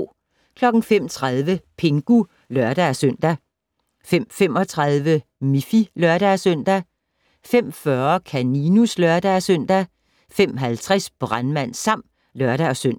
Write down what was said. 05:30: Pingu (lør-søn) 05:35: Miffy (lør-søn) 05:40: Kaninus (lør-søn) 05:50: Brandmand Sam (lør-søn)